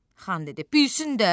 Xan dedi: Bilsin də!